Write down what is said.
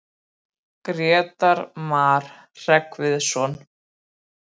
Römm eru forlögin.